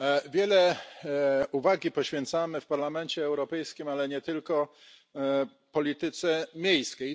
Wiele uwagi poświęcamy w Parlamencie Europejskim, ale nie tylko, polityce miejskiej.